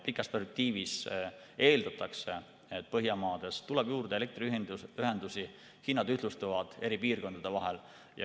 Pikas perspektiivis eeldatakse, et Põhjamaades tuleb juurde elektriühendusi ja hinnad ühtlustuvad eri piirkondade vahel.